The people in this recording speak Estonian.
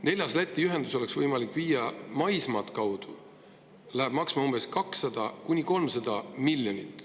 Neljas Läti ühendus oleks võimalik rajada maismaa kaudu ja see läheb maksma 200–300 miljonit.